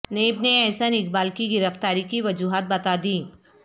NAB نے احسن اقبال کی گرفتاری کی وجوہات بتا دیں